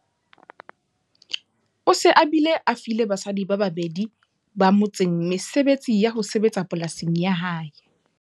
O se a bile a file basadi ba babedi ba motseng mesebetsi ya ho sebetsa polasing ya hae.